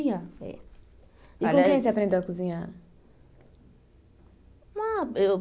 E com quem você aprendeu a cozinhar? Ah eu